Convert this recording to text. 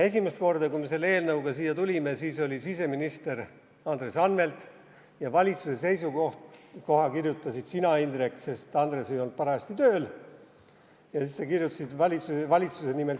Esimest korda, kui me selle eelnõuga siia tulime, oli siseminister Andres Anvelt ja valitsuse seisukoha kirjutasid sina, Indrek, sest Andres ei olnud parajasti tööl ja sa olid siseministri kohusetäitja.